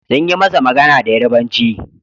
Sun yi masa magana da Yarbanci.